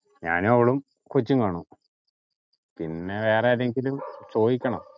ഞാനും അവളും കൊച്ചും കാണും പിന്നെ വേറെ ആരെയെങ്കിലും ചോദിക്കണം